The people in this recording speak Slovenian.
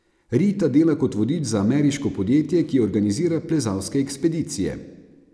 Rita dela kot vodič za ameriško podjetje, ki organizira plezalske ekspedicije.